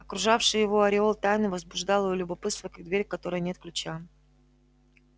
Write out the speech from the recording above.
окружавший его ореол тайны возбуждал её любопытство как дверь к которой нет ключа